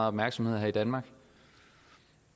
opmærksomhed her i danmark